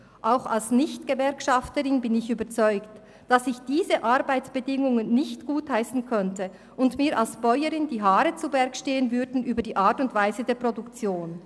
Auch als Nicht-Gewerkschafterin bin ich überzeugt, dass ich diese Arbeitsbedingungen nicht gutheissen könnte und mir als Bäuerin wegen der Art und Weise der Produktion die Haare zu Berge stehen würden.